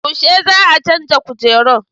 Yaushe za a canza kujeru?